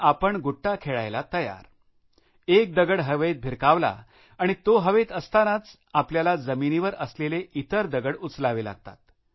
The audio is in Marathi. आपण गोटया खेळायला तयार एक गोटी हवेत भिरकावली आणि ती हवेत असतांनाच आपल्याला जमिनीवर असलेल्या इतर गोटया उचलाव्या लागतात